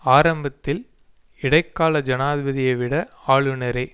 ஆரம்பத்தில் இடைக்கால ஜனாதிபதியை விட ஆளுனரே